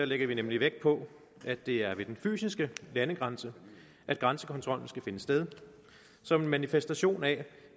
lægger vi nemlig vægt på at det er ved den fysiske landegrænse grænsekontrollen skal finde sted som en manifestation af